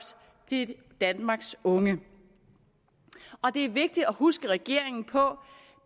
til danmarks unge og det er vigtigt at huske regeringen på